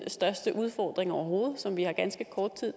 største udfordring overhovedet som vi har ganske kort tid